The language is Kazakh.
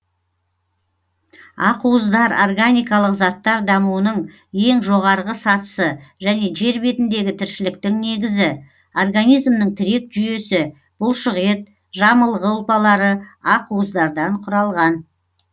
ақуыздар органикалық заттар дамуының ең жоғарғы сатысы және жер бетіндегі тіршіліктің негізі организмнің тірек жүйесі бұлшықет жамылғы ұлпалары ақуыздардан құралған